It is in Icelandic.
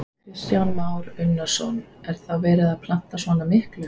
Kristján Már Unnarsson: Er þá verið að planta svona miklu?